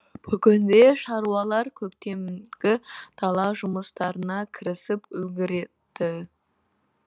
бүгінде шаруалар көктемгі дала жұмыстарына кірісіп үлгерді